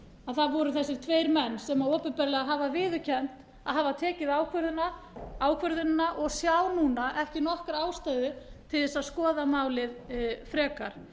að það voru þessir tveir menn sem opinberlega hafa viðurkennt að hafa tekið ákvörðunina og sjá núna ekki nokkra ástæðu til þess að skoða málið frekar